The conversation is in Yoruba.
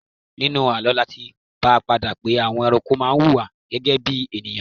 Nínú àlọ́ láti bá pàdé pé àwọn ẹranko má wuwà gẹ́gẹ́ bí ènìyàn